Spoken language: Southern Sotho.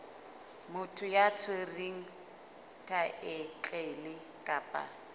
motho ya tshwereng thaetlele kapa